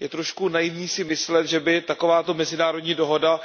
Je trochu naivní si myslet, že by takováto mezinárodní dohoda